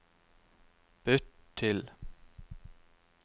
bytt til